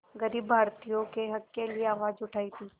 ग़रीब भारतीयों के हक़ के लिए आवाज़ उठाई थी